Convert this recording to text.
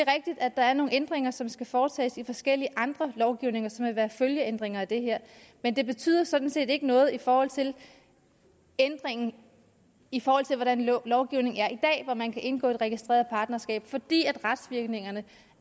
at der er nogle ændringer som skal foretages i forskellige andre lovgivninger som vil være følgeændringer af det her men det betyder sådan set ikke noget i forhold til ændringen i forhold til hvordan lovgivningen er i dag hvor man kan indgå et registreret partnerskab fordi retsvirkningerne